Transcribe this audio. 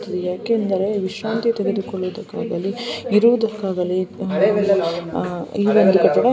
ಯಾಕೆಂದರೆ ವಿಶ್ರಾಂತಿ ತೆಗೆದುಕೊಳ್ಳುವುದಕ್ಕಾಗಲಿ ಇರುವುದಕ್ಕಾಗಲಿ ಅಹ್ ಇರೋದಕ್ಕಾಗಲಿ --